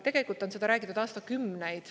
Tegelikult on seda räägitud aastakümneid.